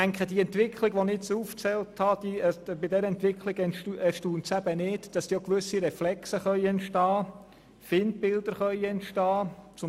Bei der beschriebenen Entwicklung erstaunt es nicht, dass gewisse Reflexe und auch Feindbilder entstehen können.